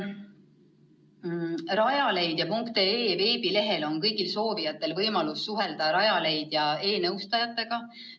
Rajaleidja.ee veebilehel on kõigil soovijatel võimalus suhelda Rajaleidja e-nõustajatega.